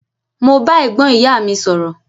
Mo ba ẹ̀gbọ́n ìyá mi sọ̀rọ̀.